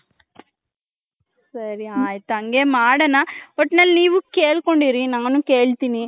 ಸರಿ ಆಯ್ತು ಹಂಗೇ ಮಾಡೋಣ ಒಟ್ನಲ್ಲಿ ನೀವು ಕೆಲ್ಕೊಂಡಿರಿ ನಾನು ಕೇಳ್ತೀನಿ .